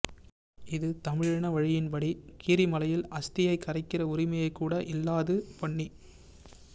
இது தமிழின வழமையின் படி கீரிமலையில் அஸ்தியை கரைக்கிற உரிமையைக் கூட இல்லாது பண்ணி